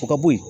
O ka bo yen